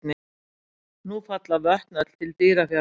Nú falla vötn öll til Dýrafjarðar.